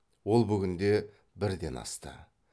ол бүгінде бірден асты